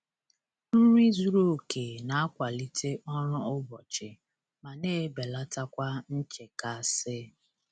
Nri zuru oke na-akwalite ọrụ ụbọchị ma na-ebelata kwa nchekasị.